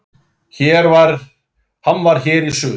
Hann var hér í suður.